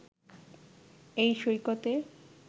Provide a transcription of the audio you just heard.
এই সৈকতে